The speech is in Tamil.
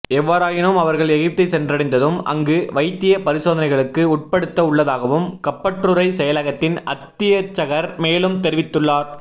எவ்வாறாயினும் அவர்கள் எகிப்தை சென்றடைந்ததும் அங்கு வைத்திய பரிசோதனைகளுக்கு உட்படுத்த உள்ளதாகவும் கப்பற்றுறை செயலகத்தின் அத்தியட்சகர் மேலும் தெரிவித்துள்ளார்